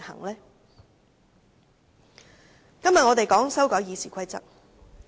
今天討論的是修改《議事規則》。